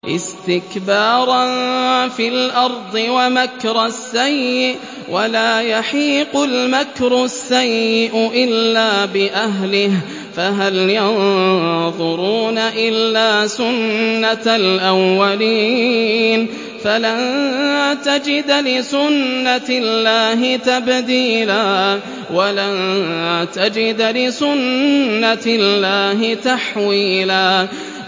اسْتِكْبَارًا فِي الْأَرْضِ وَمَكْرَ السَّيِّئِ ۚ وَلَا يَحِيقُ الْمَكْرُ السَّيِّئُ إِلَّا بِأَهْلِهِ ۚ فَهَلْ يَنظُرُونَ إِلَّا سُنَّتَ الْأَوَّلِينَ ۚ فَلَن تَجِدَ لِسُنَّتِ اللَّهِ تَبْدِيلًا ۖ وَلَن تَجِدَ لِسُنَّتِ اللَّهِ تَحْوِيلًا